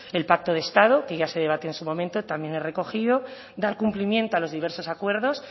el pacto de estado que ya se debatió en su momento también es recogido dar cumplimiento a los diversos acuerdos